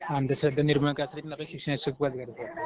अंधश्रद्धा निर्मूलनासाठी करण्यासाठी पण आपल्याला शिक्षणाची फार गरज लागते.